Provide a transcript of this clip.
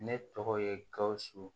Ne tɔgɔ ye gawusu